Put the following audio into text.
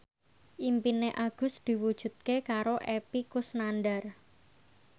impine Agus diwujudke karo Epy Kusnandar